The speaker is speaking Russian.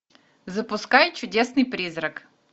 запускай чудесный призрак